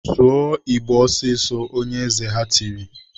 "Sụọ Igbo ọsịsọ!" Onye eze ha tiri.